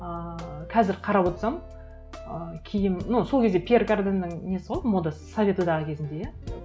ыыы қазір қарап отырсам ы киім ну сол кезде пьер карденнің несі ғой модасы совет одағы кезінде иә